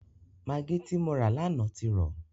Magí tí mo rà lánàá ti rọ.